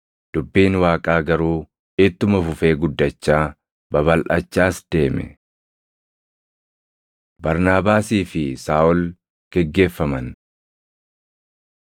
Dubbiin Waaqaa garuu ittuma fufee guddachaa, babalʼachaas deeme. Barnaabaasii fi Saaʼol Geggeeffaman